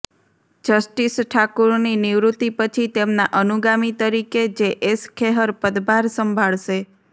justice ઠાકુરની નિવૃતિ પછી તેમના અનુગામી તરીકે જે એસ ખેહર પદભાર સંભાળશે